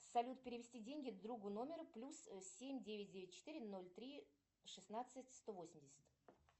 салют перевести деньги другу номер плюс семь девять девять четыре ноль три шестнадцать сто восемьдесят